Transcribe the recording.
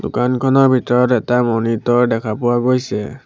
দোকানখনৰ ভিতৰত এটা মনিটৰ দেখা পোৱা গৈছে।